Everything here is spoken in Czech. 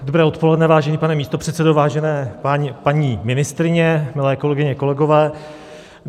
Dobré odpoledne, vážený pane místopředsedo, vážené paní ministryně, milé kolegyně, kolegové.